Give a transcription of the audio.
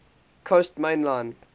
coast main line